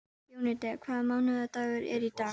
Jónída, hvaða mánaðardagur er í dag?